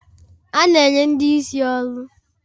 A na enye ndị isi ọrụ.